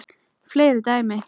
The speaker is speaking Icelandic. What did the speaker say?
Fleiri dæmi